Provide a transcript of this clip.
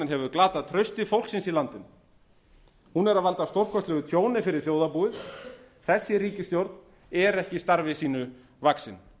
hefur glatað trausti fólksins í landinu hún er að valda stórkostlegu tjóni fyrir þjóðarbúið þessi ríkisstjórn er ekki starfi sínu vaxin